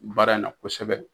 Baara in na kosɛbɛ.